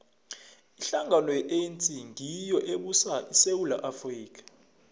ihlangano ye anc ngiyo ebusa isewula afrika